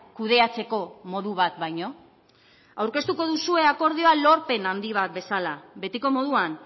kudeatzeko modu bat baino aurkeztuko duzue akordioa lorpen handi bat bezala betiko moduan